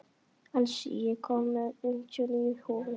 Elsí, ég kom með fimmtíu og níu húfur!